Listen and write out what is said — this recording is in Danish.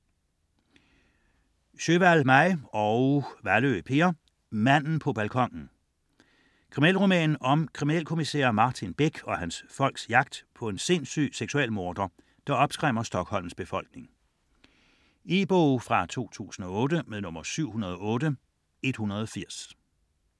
Sjöwall, Maj: Manden på balkonen Kriminalroman om kriminalkommissær Martin Beck og hans folks jagt på en sindssyg seksualmorder, der opskræmmer Stockholms befolkning. E-bog 708180 2008.